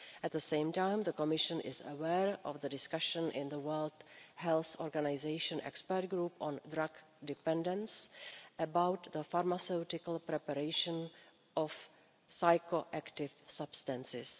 At the same time, the Commission is aware of the discussion in the World Health Organisation Expert Committee on Drug Dependence about the pharmaceutical preparation of psychoactive substances.